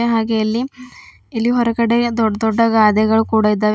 ಹಾಗೆ ಇಲ್ಲಿ ಇಲ್ಲಿ ಹೊರಗಡೆ ದೊಡ್ಡ ದೊಡ್ಡ ಗಾದೆಗಳು ಕೂಡ ಇದ್ದಾವೆ.